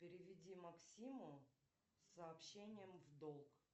переведи максиму с сообщением в долг